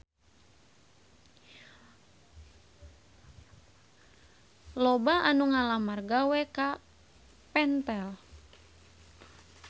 Loba anu ngalamar gawe ka Pentel